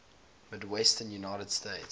midwestern united states